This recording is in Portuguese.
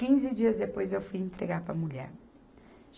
Quinze dias depois, eu fui entregar para a mulher.